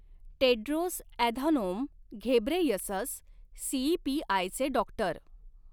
Tedros Adhanom Ghebreyesus, सीईपीआयचे doctor.